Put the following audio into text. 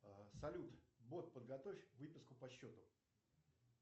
салют бот подготовь выписку по счету